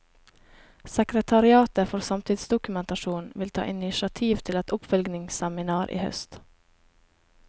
Sekretariatet for samtidsdokumentasjon vil ta initiativ til et oppfølgingsseminar i høst.